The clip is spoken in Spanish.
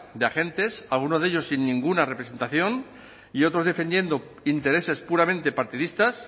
de agentes alguno de ellos sin ninguna representación y otros defendiendo intereses puramente partidistas